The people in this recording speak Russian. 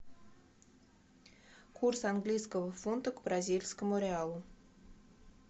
курс английского фунта к бразильскому реалу